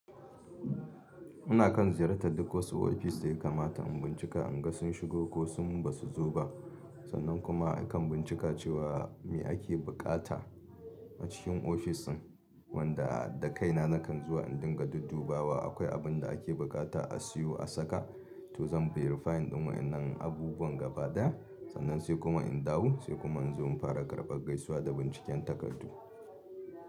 Ina kan ziyartar duk wasu ofis da ya kamata in bincika in ga sun shigo ko sun ba su zo ba. Sannan kuma akan bincika cewa me ake buƙata a cikin ofis ɗin wanda da kaina nakan zuwa in dinga duddubawa akwai abun da ake buƙata a siyo a saka to zan beyirifayin ɗumamen abubuwan gaba da ya. Sannan sai kuma in dawo sai kuma in zo in fara karɓar gaisuwa da binciken takardu.